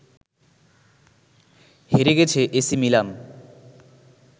হেরে গেছে AC Milan